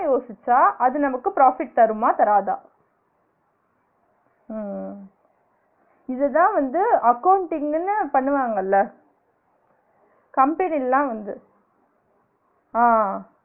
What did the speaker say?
யோசிச்சா அது நமக்கு profit தருமா? தராதா? அஹ் இது தான் வந்து accounting ன்னு பண்ணுவாங்கள்ள company யில்லா வந்து ஆஹ்